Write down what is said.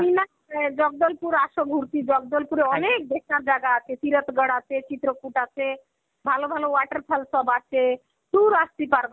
তুমি না, এ জগদলপুর আস ঘুরতি. জগদলপুরে অনেক দেখার জায়গা আছে. খিরধ্গড় আছে, চিত্রকুট আছে. ভালো ভালো সব water falls সব আছে. আস্তি পারবা.